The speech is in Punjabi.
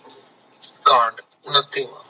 ਕਾਂਡ ਉਣਾਤੀਵਾ